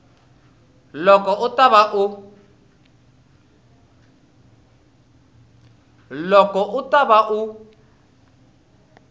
loko u ta va u